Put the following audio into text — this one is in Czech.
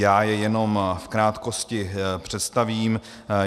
Já je jenom v krátkosti představím.